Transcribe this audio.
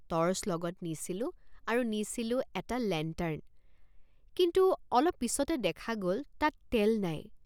Torch লগত নিছিলোঁ আৰু নিছিলোঁ এটা লেণ্টাৰ্ণ কিন্তু অলপ পিচতে দেখা গল তাত তেল নাই।